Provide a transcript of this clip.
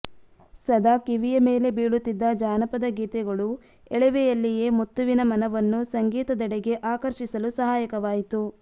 ಸದಾ ಕಿವಿಯ ಮೇಲೆ ಬೀಳುತ್ತಿದ್ದ ಜಾನಪದ ಗೀತೆಗಳು ಎಳವೆಯಲ್ಲಿಯೇ ಮುತ್ತುವಿನ ಮನವನ್ನು ಸಂಗೀತದೆಡೆಗೆ ಆಕರ್ಷಿಸಲು ಸಹಾಯಕವಾಯಿತು